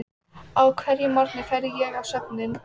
Við erum búin að öngla saman fyrir býlinu.